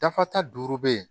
Dafa ta duuru bɛ yen